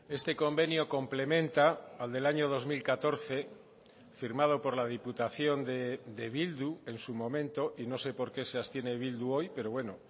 este convenio complementa al del año dos mil catorce firmado por la diputación de bildu en su momento y no sé por qué se ha abstiene bildu hoy pero bueno